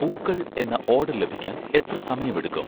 പൂക്കൾ എന്ന ഓഡർ ലഭിക്കാൻ എത്ര സമയമെടുക്കും?